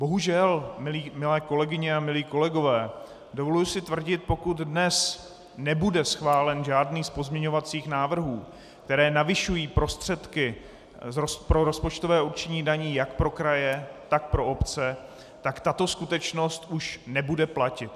Bohužel, milé kolegyně a milí kolegové, dovoluji si tvrdit, pokud dnes nebude schválen žádný z pozměňovacích návrhů, které navyšují prostředky pro rozpočtové určení daní jak pro kraje, tak pro obce, tak tato skutečnost už nebude platit.